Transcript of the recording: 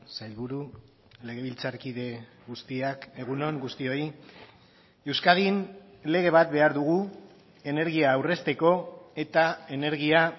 sailburu legebiltzarkide guztiak egun on guztioi euskadin lege bat behar dugu energia aurrezteko eta energia